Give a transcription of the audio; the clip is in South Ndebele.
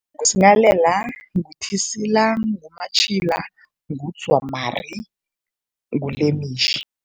NguSinghalela, nguThisila, nguMatjhila, nguDzwamari nguLemitjhi.